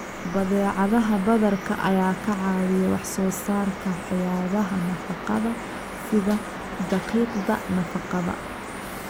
Badeecadaha badarka ayaa ka caawiya wax soo saarka waxyaabaha nafaqada sida daqiiqda nafaqada.